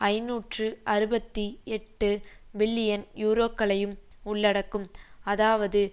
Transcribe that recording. ஐநூற்று அறுபத்தி எட்டு பில்லியன் யூரோக்களையும் உள்ளடக்கும் அதாவது